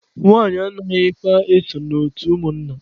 Nwanyị anaghịkwa eso na otu ụmụnna.